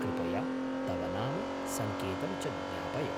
कृपया तव नाम, सङ्केतं च ज्ञापय।